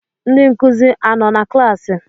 Ndị nkụzi anọ na klaasị?